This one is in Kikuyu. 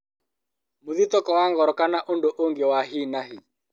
Mũthitũko wa ngoro, kana ũndũ ũngĩ wa hi na hi